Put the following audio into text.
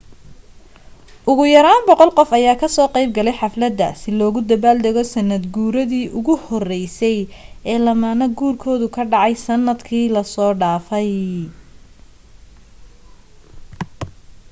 ugu yaraan 100 qof ayaa ka soo qeyb galay xaflada si loogu dabaal dago sanad guuridi ugu horeysay ee lamaane guurkoodu dhacay sanad kii laso dhafay